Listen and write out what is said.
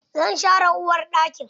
Zan share uwarɗakin.